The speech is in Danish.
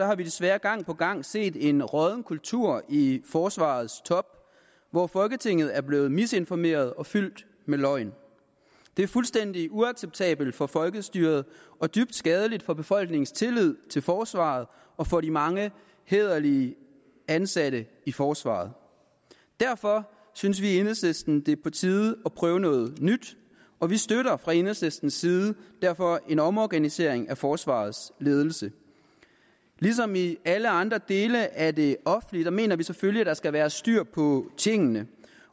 har vi desværre gang på gang set en rådden kultur i forsvarets top hvor folketinget er blevet misinformeret og fyldt med løgn det er fuldstændig uacceptabelt for folkestyret og dybt skadeligt for befolkningens tillid til forsvaret og for de mange hæderlige ansatte i forsvaret derfor synes vi i enhedslisten at det er på tide at prøve noget nyt og vi støtter fra enhedslistens side derfor en omorganisering af forsvarets ledelse ligesom i alle andre dele af det offentlige mener vi selvfølgelig at der skal være styr på tingene